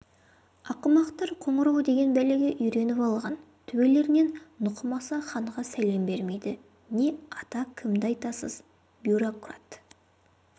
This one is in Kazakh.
ақымақтар қоңырау деген бәлеге үйреніп алған төбелерінен нұқымаса ханға сәлем бермейді не ата кімді айтасыз бюрократ